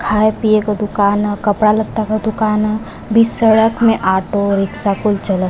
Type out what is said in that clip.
खाये-पिये का दूकान ह। कपड़ा लत्ता का दूकान ह। बीच सड़क में आटो रिक्शा कुल चलत --